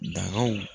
Dagaw